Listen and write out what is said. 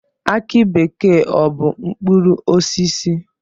Aki bekee ọ bụ mkpụrụosisi?